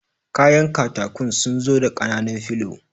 Kayan katakun sunzu da ƙananun filo